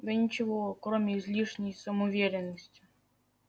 да ничего кроме излишней самоуверенности